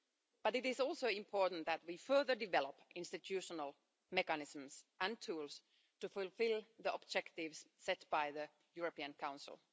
But it is also important that we further develop institutional mechanisms and tools to fulfil the objectives set by the European Council.